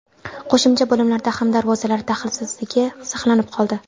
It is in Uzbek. Qo‘shimcha bo‘limlarda ham darvozalar daxlsizligi saqlanib qoldi.